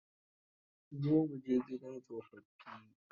Zo mu je gidan tsofaffi.